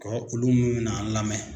Ko olu minnu bɛna an lamɛn.